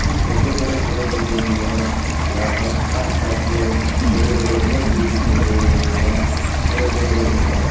कुछ छोटे बड़े पेड़ पौधे भी है यहां पर आस पास में बड़े बड़े घर भी दिखाई दे रहे हैं पेड़ पौधे भी है।